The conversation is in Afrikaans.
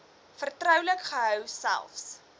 vertroulik gehou selfs